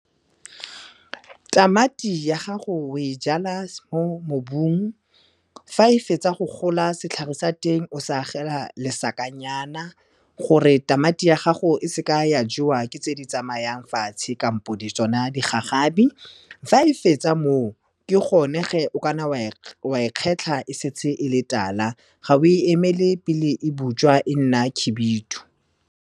Tamati ya gago o e jala mo mobung, fa e fetsa go gola setlhare sa teng o se agela lesakanyana gore tamati ya gago e seka ya jewa ke tse di tsamayang fatshe kampo tsona digagabi. Fa e fetsa moo, ke gone geng o ka nna wa e kgetlha e setse e le tala, ga o e emele pele e butswa, e nna khibidu.